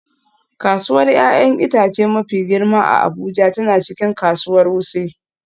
Kasuwar 'ya'yan itace mafi girma a Abuja tana cikin kasuwar Wuse